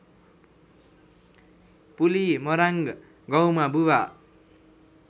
पुलिमराङ्ग गाउँमा बुवा